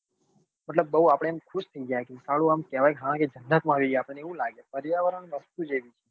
મતલબ બઉ આપડે આમ ખુશ થઇ જાય કે સાલું આમ કહેવાય કે હા જન્નત માં અઆવી ગયા આપણને એવું લાગે પર્યાવરણ વસ્તુ જ એવી